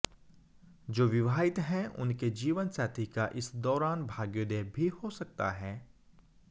जो विवाहित हैं उनके जीवनसाथी का इस दौरान भाग्योदय भी हो सकता है